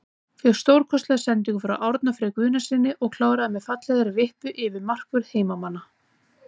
Fékk stórkostlega sendingu frá Árna Frey Guðnasyni og kláraði með fallegri vippu yfir markvörð heimamanna.